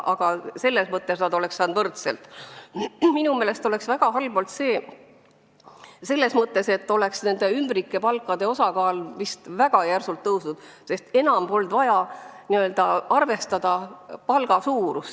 Minu meelest oleks see väga halb olnud ka selles mõttes, et ümbrikupalkade osakaal oleks vist väga järsult kasvanud, sest enam poleks vaja olnud arvestada palga suurust.